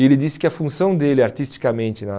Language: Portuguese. E ele disse que a função dele artisticamente na...